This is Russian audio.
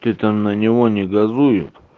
ты там на него не газуют